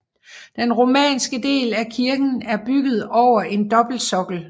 Den romanske del af kirken er bygget over en dobbeltsokkel